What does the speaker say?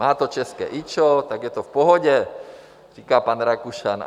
Má to české IČO, tak je to v pohodě, říká pan Rakušan.